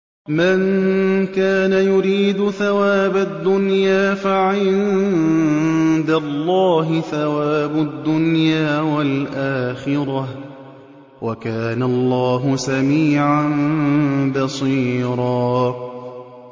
مَّن كَانَ يُرِيدُ ثَوَابَ الدُّنْيَا فَعِندَ اللَّهِ ثَوَابُ الدُّنْيَا وَالْآخِرَةِ ۚ وَكَانَ اللَّهُ سَمِيعًا بَصِيرًا